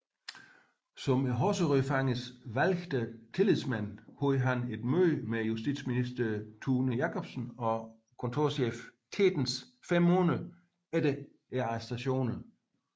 Som Horserødfangernes valgte tillidsmand havde han et møde med justitsminister Thune Jacobsen og kontorchef Tetens fem måneder efter arrestationerne